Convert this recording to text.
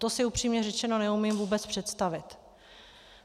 To si upřímně řečeno neumím vůbec představit.